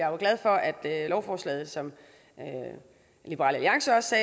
er glad for at lovforslaget som liberal alliance også